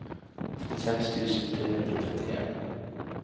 trettiseks tusen tre hundre og trettien